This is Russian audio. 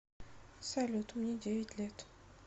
салют мне девять лет